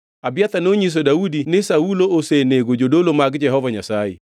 Abiathar nonyiso Daudi ni Saulo osenego jodolo mag Jehova Nyasaye.